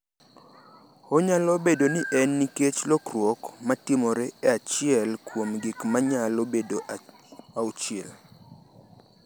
Onyalo bedo ni en nikech lokruok ma timore e achiel kuom gik ma nyalo bedo auchiel.